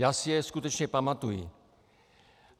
Já si je skutečně pamatuji.